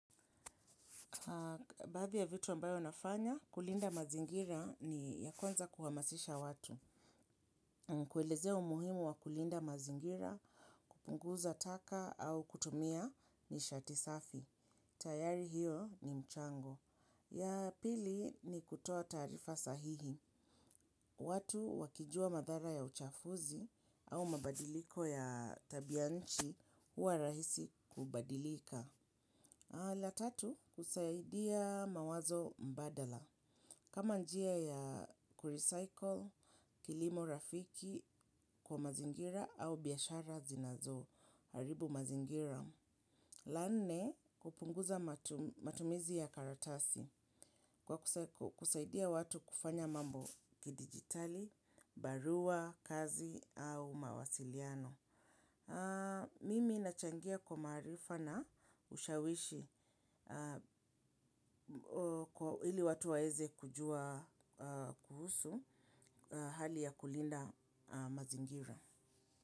Baadhi ya vitu ambayo nafanya, kulinda mazingira ni ya kwaza kuhamasisha watu. Kuelezea umuhimu wa kulinda mazingira, kupunguza taka au kutumia nishati safi. Tayari hiyo ni mchango. Ya pili ni kutoa taarifa sahihi. Watu wakijua madhara ya uchafuzi au mabadiliko ya tabia nchi huwa rahisi kubadilika. La tatu, husaidia mawazo mbadala. Kama njia ya kurecycle, kilimo rafiki kwa mazingira au biashara zinazoharibu mazingira. La nne, kupunguza matumizi ya karatasi kwa kusaidia watu kufanya mambo kidijitali, barua, kazi au mawasiliano. Mimi nachangia kwa maarifa na ushawishi kwa hili watu waweze kujua kuhusu hali ya kulinda mazingira.